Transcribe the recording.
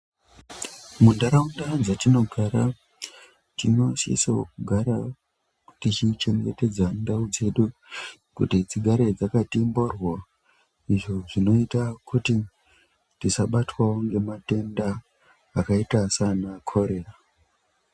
Muntaraunda dzatinogara tinosiso kugara tichichengetedza ndau dzedu kuti dzigare dzakati mboryo. Izvo zvinota kuti tisabatwawo ngematenda akaita sana korera.